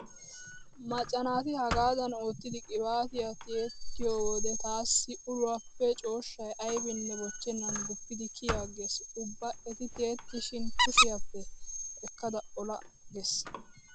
Macca naati hagaadan oottidi qiibaatiyaa tiyettiyo wode taassi uluwaappe cooshshay aybinne bochchennan guppidi kiyi aggees. Ubba eti tiyettishin kushiyaappe ekkada ola ola gees.